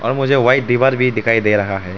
मुझे व्हाइट दीवार भी दिखाई दे रहा है।